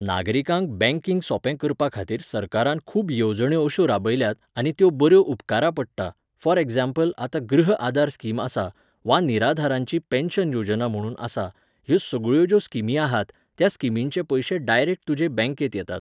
नागरिकांक बँकिंग सोंपें करपाखातीर सरकारान खूब येवजण्यो अश्यो राबयल्यात, आनी त्यो बऱ्यो उपकारा पडटा, फॉर एक्झांपल आतां गृह आधार स्कीम आसा, वा निराधारांची पेन्शन योजना म्हुणून आसा, ह्यो सगळ्यो ज्यो स्किमी आसात, त्या स्किमिंचे पयशे डायरेक्ट तुजे बँकेंत येतात.